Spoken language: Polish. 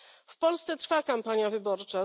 W Polsce trwa kampania wyborcza.